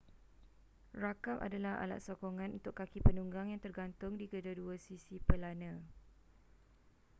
rakap adalah alat sokongan untuk kaki penunggang yang tergantung di kedua-dua sisi pelana